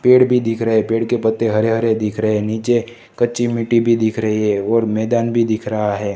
पेड़ भी दिख रहा है पेड़ के पत्ते हरे हरे दिख रहे हैं नीचे कच्ची मिट्टी भी दिख रही है और मैदान भी दिख रहा है।